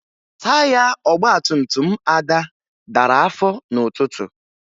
Taya ọgbantumtum Ada dara afọ n'ụtụtụ